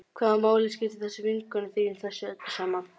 Hvaða máli skiptir þessi vinkona þín í þessu öllu saman?